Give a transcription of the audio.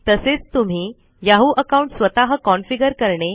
तसेच तुम्ही Yahoo account स्वतः कॉन्फीगर करणे